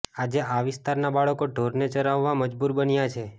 આજે આ વિસ્તારના બાળકો ઢોરને ચરાવવા મજબૂર બન્યા છે